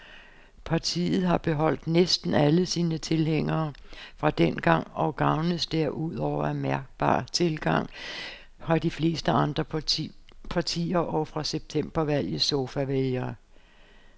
Partiet har beholdt næsten alle sine tilhængere fra dengang og gavnes derudover af mærkbar tilgang fra de fleste andre partier og fra septembervalgets sofavælgere.